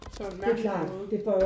Så en mærkelig måde